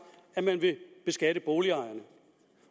at man vil beskatte boligejerne